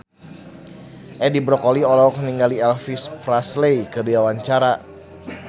Edi Brokoli olohok ningali Elvis Presley keur diwawancara